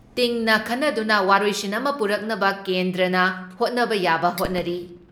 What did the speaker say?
ꯇꯤꯡꯅ ꯈꯟꯅꯗꯨꯅ ꯋꯥꯔꯣꯏꯁꯤꯟ ꯑꯃ ꯄꯨꯔꯛꯅꯕ ꯀꯦꯟꯗ꯭ꯔꯅ ꯍꯣꯠꯅꯕ ꯌꯥꯕ ꯍꯣꯠꯅꯔꯤ ꯫